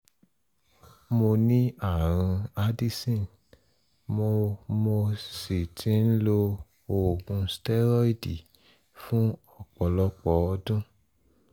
mo ní ààrùn addison mo mo sì ti ń lo oògùn stẹ́rọ́ìdì fún ọ̀pọ̀lọpọ̀ ọdún